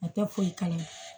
A tɛ foyi kalama